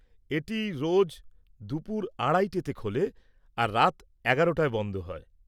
এটি রোজ দুপুর আড়াইটায় খোলে আর রাত ১১টায় বন্ধ হয়।